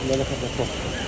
Dəxli yoxdur.